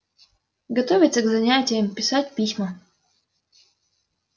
готовиться к занятиям писать письма